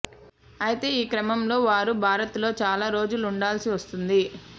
అయితే ఈ క్రమంలో వారు భారత్లో చాలా రోజులు ఉండాల్సి వస్తుంది